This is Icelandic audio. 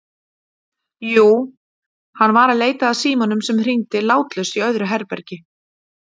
Jú, hann var að leita að símanum sem hringdi látlaust í öðru herbergi.